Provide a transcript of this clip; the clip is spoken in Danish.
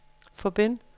forbind